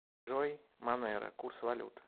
джой монеро курс валют